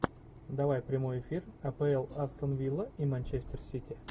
давай прямой эфир апл астон вилла и манчестер сити